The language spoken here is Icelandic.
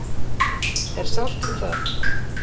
Er sátt um það?